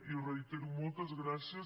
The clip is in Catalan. i ho reitero moltes gràcies